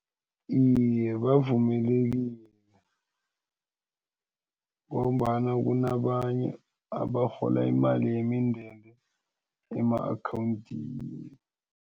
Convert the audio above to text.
Iye, bavumelekile ngombana kunabanye abarhola imali yemindende ema-akhawundini.